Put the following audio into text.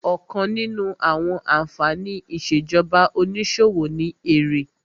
Ọ̀kan nínú àwọn ànfàní ìṣèjọba onísòwò ni èrè